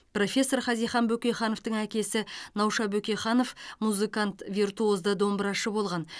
профессор хазихан бөкейхановтың әкесі науша бөкейханов музыкант виртуозды домбырашы болған